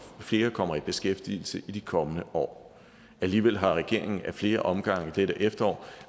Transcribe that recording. flere kommer i beskæftigelse i de kommende år alligevel har regeringen i flere omgange i dette efterår